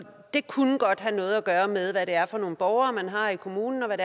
og det kunne godt have noget at gøre med hvad det er for nogle borgere man har i kommunen og hvad